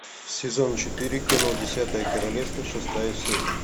сезон четыре кино десятое королевство шестая серия